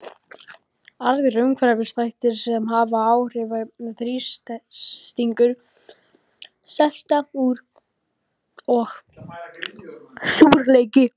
Aðrir umhverfisþættir sem hafa áhrif eru þrýstingur, selta og súrleiki.